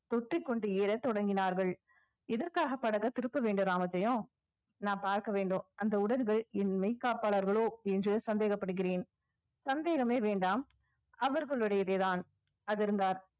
தொற்றிக்கொண்டு ஏறத் தொடங்கினார்கள் இதற்காக படகு திருப்ப வேண்டும் ராமஜெயம் நான் பார்க்க வேண்டும் அந்த உடல்கள் என் மெய் காப்பாளர்களோ என்று சந்தேகப்படுகிறேன் சந்தேகமே வேண்டாம் அவர்களுடையதேதான் அதிர்ந்தார்